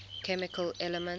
chemical elements